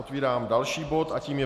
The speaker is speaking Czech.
Otevírám další bod a tím je